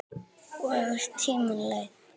Og tíminn leið.